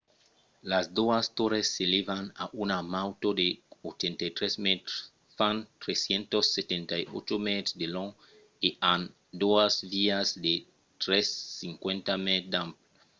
las doas torres s’elèvan a una nautor de 83 mètres fan 378 mètres de long e an doas vias de 3.50 m d’ample